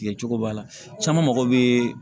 Tigɛ cogo b'a la caman mago bɛ